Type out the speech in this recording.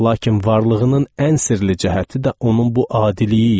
Lakin varlığının ən sirli cəhəti də onun bu adiliyi idi.